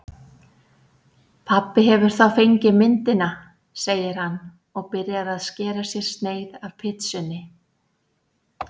Pabbi hefur þá fengið myndina, segir hann og byrjar að skera sér sneið af pitsunni.